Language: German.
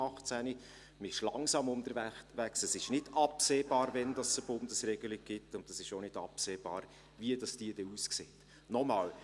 Man ist langsam unterwegs, es ist nicht absehbar, wann es eine Bundesregelung geben wird, und es ist auch nicht absehbar, wie diese dann aussehen wird.